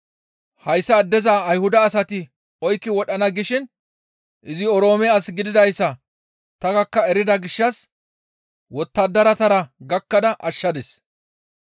Hayssa addeza Ayhuda asati oykki wodhana gishin izi Oroome as gididayssa ta gakka erida gishshas wottadaratara gakkada ashshadis.